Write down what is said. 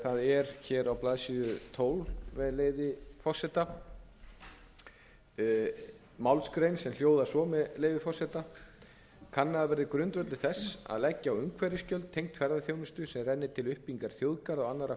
það er á blaðsíðu tólf málsgrein sem hljóðar svo með leyfi forseta kannaður verði grundvöllur þess að leggja á umhverfisgjöld tengd ferðaþjónustu sem renni til uppbyggingar þjóðgarða og annarra